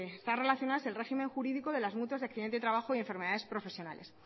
está relacionada es con el régimen jurídico de las mutuas de accidente de trabajo y enfermedades profesionales